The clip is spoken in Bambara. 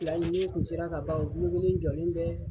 Fila nin ni nin kun sera ka ban u len jɔlen bɛ.